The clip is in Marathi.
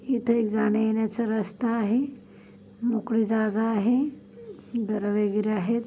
इथे एक जाण्यायेण्याचा रस्ता आहे मोकळी जागा आहे घर वगैरे आहेत.